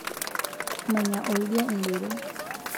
menya oldia idero